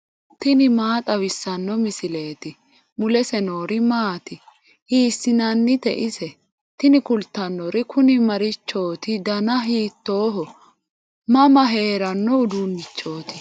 tini maa xawissanno misileeti ? mulese noori maati ? hiissinannite ise ? tini kultannori kuni marichooti dana hiitooho mama heeranno uduunnichooti